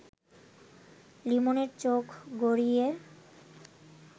লিমনের চোখ গড়িয়ে